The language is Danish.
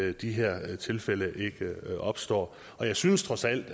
at de her tilfælde ikke opstår jeg synes trods alt